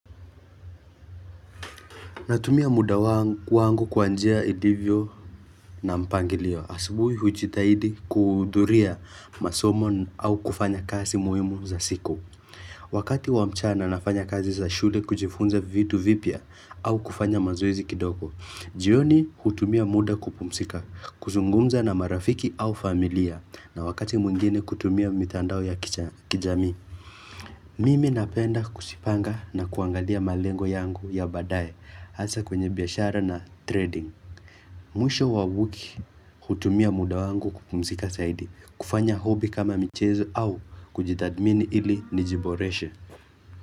Natumia muda wangu kwangu kwa njia ilivyo na mpangilio. Asubuhi hujitahidi kuhudhuria masomo au kufanya kazi muhimu za siku. Wakati wa mchana nafanya kazi za shule kujifunza vitu vipya au kufanya mazoezi kidogo. Jioni hutumia muda kupumzika, kuzungumza na marafiki au familia. Na wakati mwingine kutumia mitandao ya kijamii. Mimi napenda kujiipanga na kuangalia malengo yangu ya baadae. Hasa kwenye biashara na trading Mwisho wa wiki hutumia muda wangu kupumzika zaidi kufanya hobby kama michezo au kujithadmini ili nijiboreshe.